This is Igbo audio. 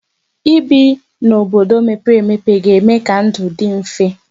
Ibi n'obodo mepere emepe ga-eme ka ndụ dị mfe.